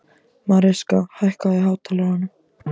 Mariska, hækkaðu í hátalaranum.